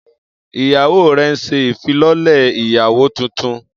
Iyawo rẹ n ṣe ifilọlẹ iyawo tuntun